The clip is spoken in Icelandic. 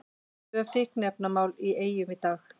Tvö fíkniefnamál í Eyjum í dag